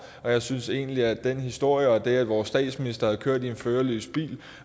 og jeg synes egentlig at den historie og det at vores statsminister har kørt en førerløs bil